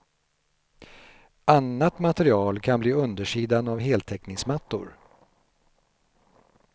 Annat material kan bli undersidan av heltäckningsmattor.